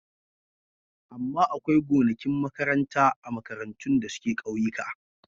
Amma akwai gonakin makaranta a makarantun da suke ƙauyika.